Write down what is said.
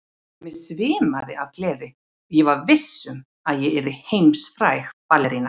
Mig svimaði af gleði og ég var viss um að ég yrði heimsfræg ballerína.